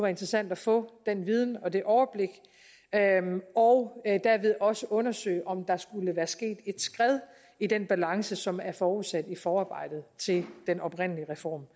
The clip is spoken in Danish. interessant at få den viden og det overblik og derved også undersøge om der skulle være sket et skred i den balance som er forudsat i forarbejdet til den oprindelige reform